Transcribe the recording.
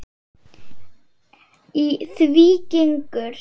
Í því gengur